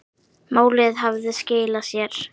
Málið hafði skilað sér.